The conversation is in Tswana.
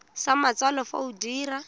sa matsalo fa o dira